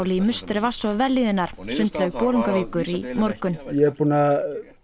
í musteri vatns og vellíðunar sundlaug Bolungarvíkur í morgun ég er búinn að